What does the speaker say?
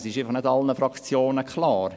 Es ist einfach nicht allen Fraktionen klar.